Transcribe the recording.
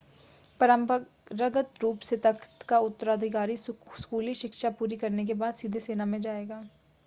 परंपरागत रूप से तख़्त का उत्तराधिकारी स्कूली शिक्षा पूरी करने के बाद सीधे सेना में जाएगा